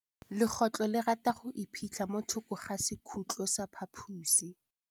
Legôtlô le rata go iphitlha mo thokô ga sekhutlo sa phaposi.